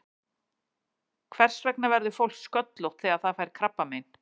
Hvers vegna verður fólk sköllótt þegar það fær krabbamein?